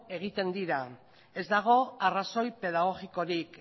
egiten dira ez dago arrazoi pedagogikorik